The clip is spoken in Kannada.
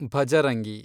ಭಜರಂಗಿ